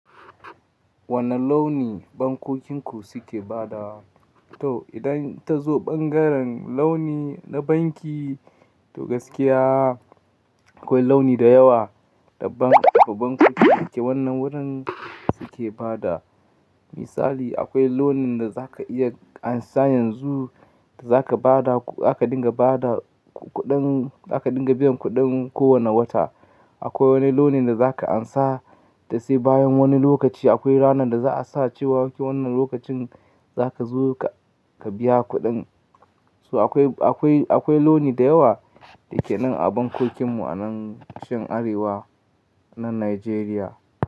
Wane launi bankokin ku suke badawa? To idan ta zo bangaren launi na banki, to gaskiya akwai launi da yawa da bankokinku yake wannan wurin suke bada. Misali akwai launin da za ka iya ansan yanzu da za ka bada, zaka dinga bada kuɗin, zaka dinga biyan kuɗin ko wane wata. Akwai wani launin da za ka ansa, to sai bayan wani lokaci akwai ranar da za a sa cewa wannan lokacin za ka zo ka biya kuɗin. To akwai, akwai, akwai launi da yawa da yake nan a bankokin mu a nan tushen Arewa na Najeriya.